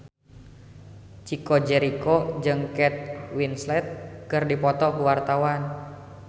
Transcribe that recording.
Chico Jericho jeung Kate Winslet keur dipoto ku wartawan